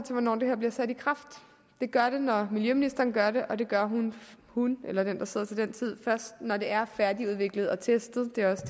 hvornår det her bliver sat i kraft det gør det når miljøministeren gør det og det gør hun eller den der sidder til den tid først når det er færdigudviklet og testet dette også